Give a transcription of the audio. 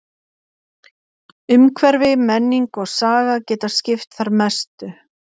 Umhverfi, menning og saga geta skipt þar mestu.